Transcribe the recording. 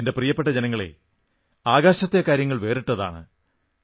എന്റെ പ്രിയപ്പെട്ട ജനങ്ങളേ ആകാശത്തെ കാര്യങ്ങൾ വേറിട്ടതാണ്